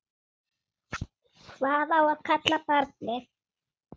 Hvað á að kalla barnið?